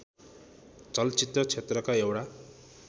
चलचित्र क्षेत्रका एउटा